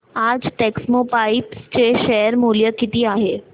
आज टेक्स्मोपाइप्स चे शेअर मूल्य किती आहे